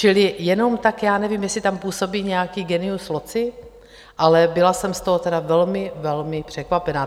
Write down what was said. Čili jenom tak, já nevím, jestli tam působí nějaký genius loci, ale byla jsem z toho tedy velmi, velmi překvapená.